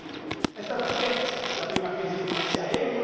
Lei lo sa meglio di me è stata a Firenze la prima crisi finanziaria.